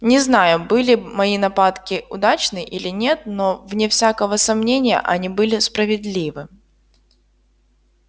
не знаю были мои нападки удачны или нет но вне всякого сомнения они были справедливы